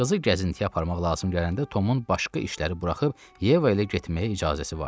Qızı gəzintiyə aparmaq lazım gələndə Tomun başqa işləri buraxıb Yeva ilə getməyə icazəsi vardı.